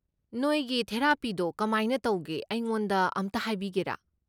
ꯅꯣꯏꯒꯤ ꯊꯦꯔꯥꯄꯤꯗꯣ ꯀꯃꯥꯏꯅ ꯇꯧꯒꯦ ꯑꯩꯉꯣꯟꯗ ꯑꯝꯇ ꯍꯥꯏꯕꯤꯒꯦꯔꯥ?